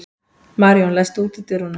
Maríon, læstu útidyrunum.